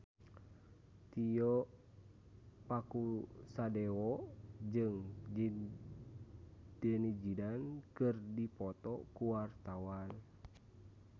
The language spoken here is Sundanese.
Tio Pakusadewo jeung Zidane Zidane keur dipoto ku wartawan